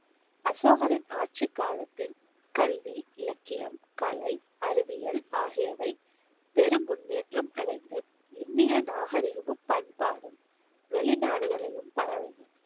அசோகரின் ஆட்சி காலத்தில் கல்வி, இலக்கியம், கலை, அறிவியல், ஆகியவை பெரும் முன்னேற்றம் அடைந்து இந்திய நாகரிகமும், பண்பாடும், வெளிநாடுகளிலும் பரவின.